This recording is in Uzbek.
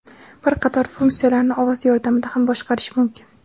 Bir qator funksiyalarni ovoz yordamida ham boshqarish mumkin.